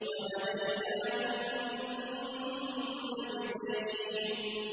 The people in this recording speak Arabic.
وَهَدَيْنَاهُ النَّجْدَيْنِ